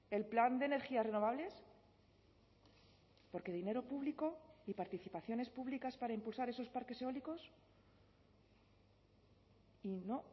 el plan de energías renovables por qué dinero público y participaciones públicas para impulsar esos parques eólicos y no